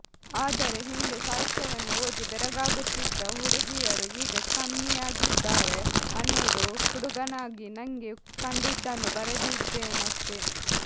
ಆದರೆ ಹಿಂದೆ ಸಾಹಿತ್ಯವನ್ನು ಓದಿ ಬೆರಗಾಗುತ್ತಿದ್ದ ಹುಡುಗಿಯರು ಈಗ ಕಮ್ಮಿಯಾಗಿದ್ದಾರೆ ಅನ್ನೋದು ಹುಡುಗಾನಾಗಿ ನಂಗೆ ಕಂಡಿದ್ದನ್ನು ಬರೆದಿದ್ದೇನಷ್ಟೇ